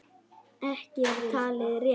Ekki er það talið rétt.